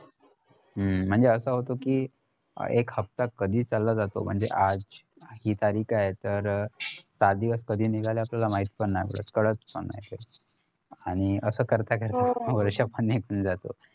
हम्म म्हणजे असं होत कि एक हफ्ता कधी चालला जातो आज हि तारीख आहे तर सात दिवस कधी निघाले आपल्याला माहित पण नई पढत कळत पण नाहीत ते आणि असं करता करता वर्ष पण निघून जातो